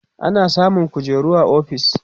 ana samun kujeru a ofis